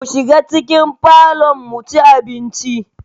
Mu shiga cikin falon muci abinci